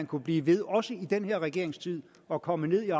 kunne blive ved med også i den her regerings tid at komme ned